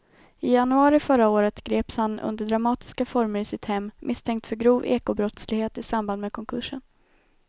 I januari förra året greps han under dramatiska former i sitt hem misstänkt för grov ekobrottslighet i samband med konkursen.